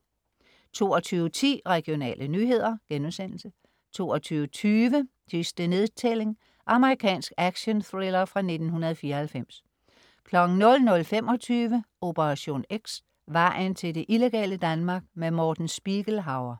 22.10 Regionale nyheder* 22.20 Sidste nedtælling. Amerikansk actionthriller fra 1994 00.25 Operation X: Vejen til det illegale Danmark. Morten Spiegelhauer